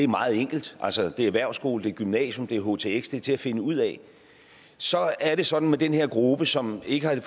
meget enkelt altså det er erhvervsskole det er gymnasium det er htx det er til at finde ud af så er det sådan med den her gruppe som ikke har